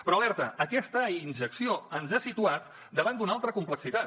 però alerta aquesta injecció ens ha situat davant d’una altra complexitat